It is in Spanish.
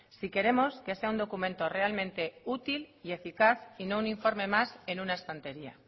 si queremos que sea un documento realmente útil y eficaz y no un informe más en una estantería